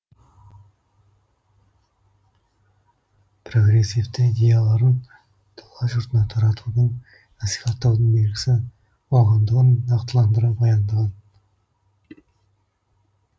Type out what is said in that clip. прогрессивті идеяларын дала жұртына таратудың насихаттаудың белгісі болғандығын нақтыландыра баяндаған